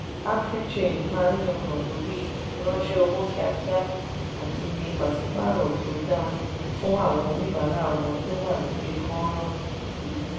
africhange máa yangàn lórí ìfiránṣẹ́ owó kíákíá àti iye pàṣípàrọ̀ tó da fún àwọn oníbàárà wọn tó wà lórí fọ́nrán.